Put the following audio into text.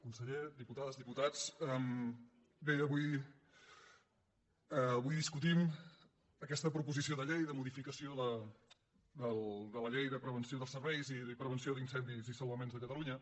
conseller diputades diputats bé avui discutim aquesta proposició de llei de modificació de la llei de prevenció dels serveis i de prevenció d’incendis i salvaments de catalunya